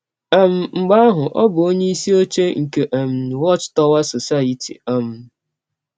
um Mgbe ahụ ọ bụ onyeisi ọche nke um Watch Tower Society um.